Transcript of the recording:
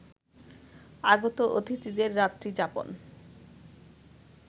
আগত অতিথিদের রাত্রি যাপন